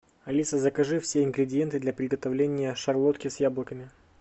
алиса закажи все ингредиенты для приготовления шарлотки с яблоками